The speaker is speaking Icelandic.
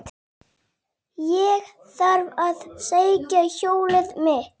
Ég þarf að sækja hjólið mitt.